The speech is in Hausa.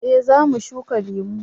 eh za mu shuka lemo